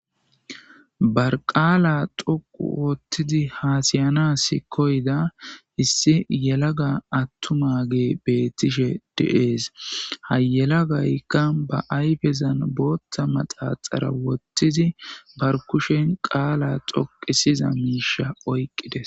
Barqaala xoqu woottidi haasiyanasi koyda issi yelaga attuma ge beettishe deees. hayela gaykka ba ayfezan booththa maxaxara wottidi bar kushen qaala xoqisiza miisha oyqqides.